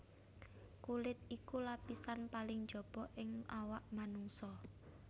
Kulit iku lapisan paling njaba ing awak manungsa